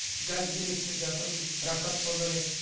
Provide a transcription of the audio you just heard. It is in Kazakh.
газ келеді деп жатырмыз рахат болар еді